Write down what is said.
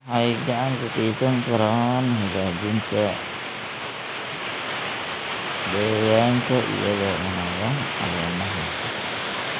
Waxay gacan ka geysan karaan hagaajinta deegaanka iyagoo cunaya caleemaha.